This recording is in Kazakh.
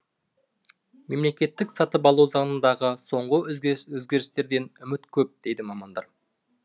мемлекеттік сатып алу заңындағы соңғы өзгерістерден үміт көп дейді мамандар